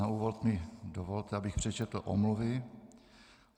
Na úvod mi dovolte, abych přečetl omluvy.